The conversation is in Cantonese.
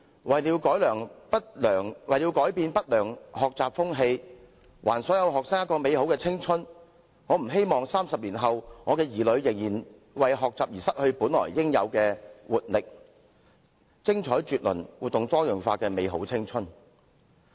為了改變不良學習風氣，還所有學生一個美好的青春，我不希望30年後，我的子女仍然要為學習而失去本來應有的活力，以及享受精彩絕倫和多姿多采的生命的美好青春。